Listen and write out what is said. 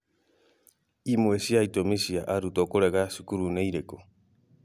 Imwe cia itũmi cia arutwo kũrega cukuru nĩ irĩkũ?